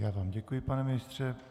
Já vám děkuji, pane ministře.